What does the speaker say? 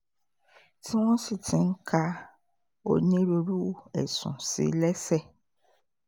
tí wọ́n sì ti ń ka onírúurú ẹ̀sùn sí i lẹ́sẹ̀